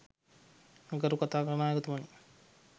ගරු කතානායකතුමනි